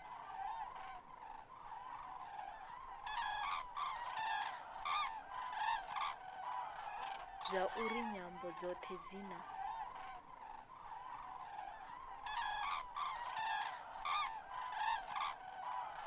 zwauri nyambo dzothe dzi na